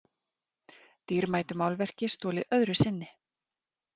Dýrmætu málverki stolið öðru sinni